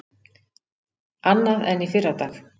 Annað en í fyrradag.